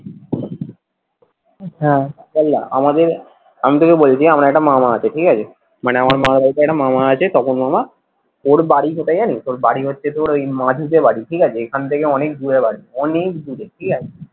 হ্যাঁ শোন না আমাদের আমি তোকে বলছি আমি তোকে বলছি আমার একটা মামা আছে ঠিক আছে মানে হম আমার মামা বাড়িতে একটা মামা আছে তপন মামা ওর বাড়ি কোথায় জানিস? ওর বাড়ি হচ্ছে তোর ওই মাধিতে বাড়ি ঠিকাছে। এখান থেকে অনেক দূরে বাড়ি অনেক দূরে ঠিকাছে,